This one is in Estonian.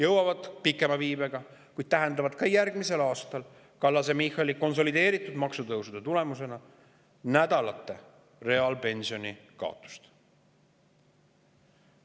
jõuab nendeni pikema viibega, kuid Kallase-Michali konsolideeritud maksutõusude tulemus tähendab neile järgmisel aastal nädalate reaalpensioni kaotust.